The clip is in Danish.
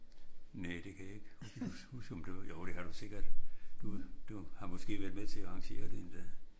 Næ det kan jeg ikke huske om du var jo det var du sikkert. Du har måske været med til at arrangere det endda